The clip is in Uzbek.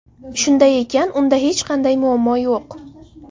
Shunday ekan unda hech qanday muammo yo‘q.